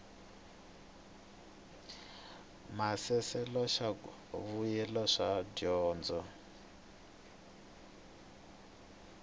maasesele swa mbuyelo wa dyondzo